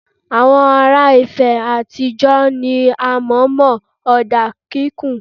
Awon ara ìfẹ́ àtijó ni a mọ̀ mọ́ ọ̀dà kíkùn.